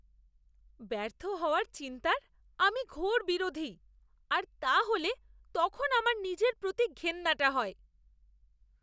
ব্যর্থ হওয়ার চিন্তার আমি ঘোর বিরোধী আর তা হলে তখন আমার নিজের প্রতি ঘেন্নাটা হয়!